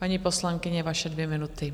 Paní poslankyně, vaše dvě minuty.